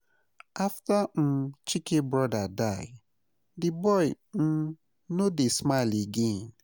After um Chike brother die, the boy um no dey smile again